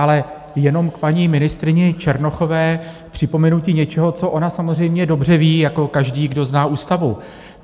Ale jenom k paní ministryni Černochové připomenutí něčeho, co ona samozřejmě dobře ví jako každý, kdo zná ústavu.